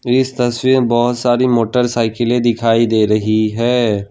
इस तस्वीर में बहुत सारी मोटरसाइकिलें दिखाई दे रही है।